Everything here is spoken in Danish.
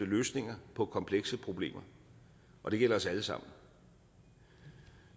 løsninger på komplekse problemer og det gælder os alle sammen